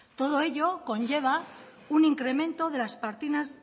todo ello conlleva un incremento